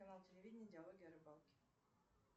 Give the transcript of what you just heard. канал телевидения диалоги о рыбалке